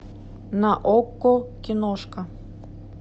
на окко киношка